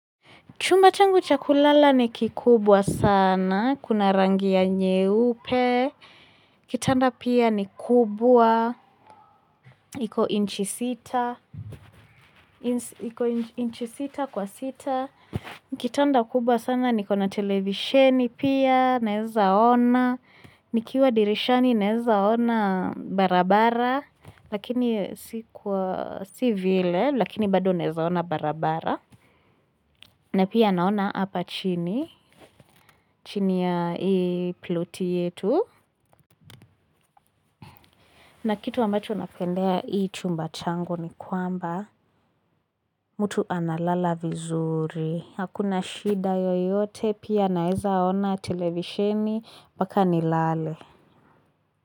Chumba changu cha kulala ni kikubwa sana, kuna rangi ya nyeupe, kitanda pia ni kubwa, iko inchi sita, iko inchi sita kwa sita, kitanda kubwa sana, niko na televisheni pia, naezaona, nikiwa dirishani nezaona barabara, lakini si vile, lakini bado naezaona barabara, na pia naona hapa chini, chini ya hii ploti yetu. Na kitu ambacho napendea hii chumba chango ni kwamba, mtu analala vizuri. Hakuna shida yoyote, pia naeza ona televisheni, mbaka nilale.